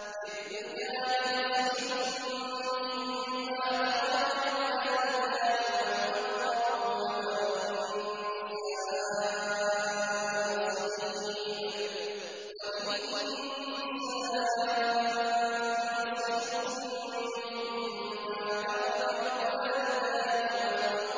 لِّلرِّجَالِ نَصِيبٌ مِّمَّا تَرَكَ الْوَالِدَانِ وَالْأَقْرَبُونَ وَلِلنِّسَاءِ نَصِيبٌ مِّمَّا تَرَكَ الْوَالِدَانِ وَالْأَقْرَبُونَ مِمَّا قَلَّ مِنْهُ